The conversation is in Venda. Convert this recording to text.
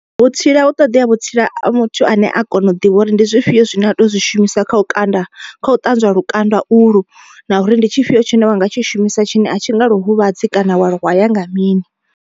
Vhutsila hu ṱoḓea vhutsila a muthu ane a kona u ḓivha uri ndi zwifhio zwine a to zwi shumisa kha u kanda kha u ṱanzwa lukanda ulu. Na uri ndi tshifhio tshine wa nga tshi shumisa tshine a tshi nga lu huvhadzi kana wa hwaya nga mini.